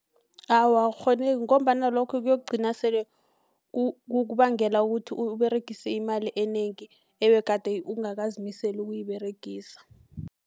Awa, akukghoneki ngombana lokho kokugcina sele kukubangela ukuthi uberegise imali enengi ebegade ungakazimiseli ukuyiberegisa.